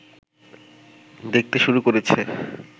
দেখতে শুরু করেছে